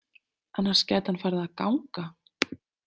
Annars gæti hann farið að ganga.